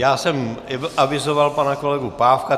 Já jsem avizoval pana kolegu Pávka.